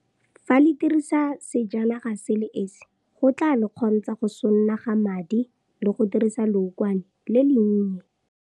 Fa le dirisa sejanaga se le esi go tla le kgontsha go sonaga madi le go dirisa leokwane le le nnye.